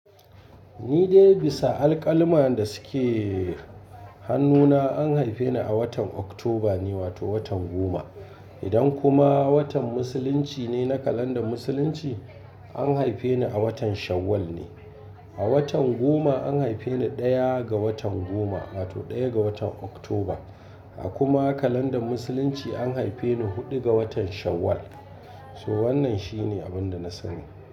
Ni dai bisa alkalma da suke hannuna an haife ni a watan Oktoba ne wato watan goma. Idan kuma watan musulunci ne na kalandar musulunci an haife ni a watan Shawwal ne. A watan goma an haife ni ɗaya ga watan goma wato ɗaya ga watan Oktoba. A kuma kalandar musulunci an haife ni huɗu ga watan Shawwal. To wannan shine abin da na sani.